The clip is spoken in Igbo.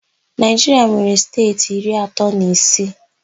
Naịjiria nwere steeti iri atọ na isii.